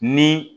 Ni